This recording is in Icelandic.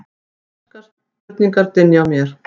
konar spurningar dynja á mér.